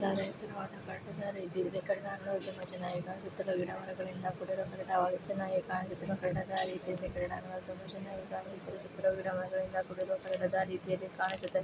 ಇದು ಒಂದು ಕಟ್ಟಡ ರೀತಿ ಇದೆ ಕಟ್ಟಡ ನೋಡಲು ತುಂಬಾ ಚೆನ್ನಾಗಿ ಕಾಣುತ್ತದೆ ಗಿಡಮರಗಳಿಂದ ಕೂಡಿದ ಚೆನ್ನಾಗಿ ಕಾಣುತ್ತಿರುವ ದೊಡ್ಡದಾದ ಕ್ರೀಡಾಂಗಣತರ ಚೆನ್ನಾಗಿ ಕಾಣುತ್ತಿದೆ ಹಲವಾರು ಮರಗಳಿಂದ ಕೂಡಿದ ಚಿತ್ರದಂತೆ ಕಾಣುತ್ತಿದೆ